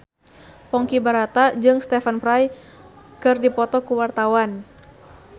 Ponky Brata jeung Stephen Fry keur dipoto ku wartawan